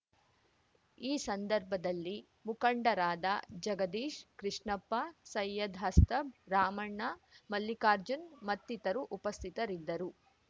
ಈ ಸಂದರ್ಭದಲ್ಲಿ ಮುಖಂಡರಾದ ಜಗದೀಶ್ ಕೃಷ್ಣಪ್ಪ ಸೈಯದ್ ಹಸ್ತಬ್ ರಾಮಣ್ಣ ಮಲ್ಲಿರ್ಕಾಜುನ್ ಮತ್ತಿತರು ಉಪಸ್ಥಿತರಿದ್ದರು